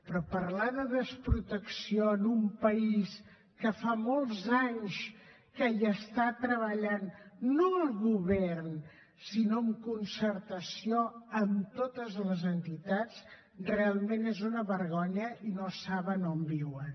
però parlar de desprotecció en un país que fa molts anys que hi treballa no el govern sinó en concertació amb totes les entitats realment és una vergonya i no saben on viuen